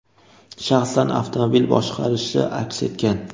shaxsan avtomobil boshqarishi aks etgan.